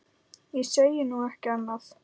Ég segi nú ekki annað.